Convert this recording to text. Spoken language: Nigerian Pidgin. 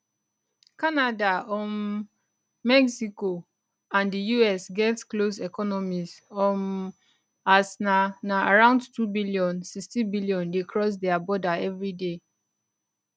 canada um mexico and di us get close economies um as na na around 2bn 16bn dey cross dia border evriday